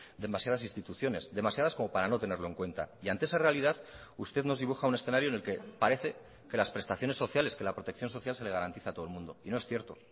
demasiadas instituciones demasiadas como para no tenerlo en cuenta y ante esa realidad usted nos dibuja un escenario en el que parece que las prestaciones sociales que la protección social se le garantiza a todo el mundo y no es cierto